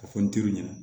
Ka fɔ n teriw ɲɛna